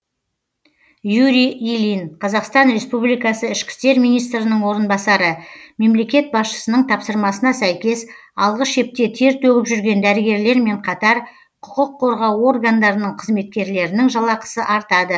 юрий ильин қазақстан республикасы ішкі істер министрінің орынбасары мемлекет басшысының тапсырмасына сәйкес алғы шепте тер төгіп жүрген дәрігерлермен қатар құқық қорғау органдарының қызметкерлерінің жалақысы артады